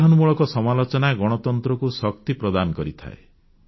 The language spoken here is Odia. ଗଠନମୂଳକ ସମାଲୋଚନା ଗଣତନ୍ତ୍ରକୁ ଶକ୍ତି ପ୍ରଦାନ କରିଥାଏ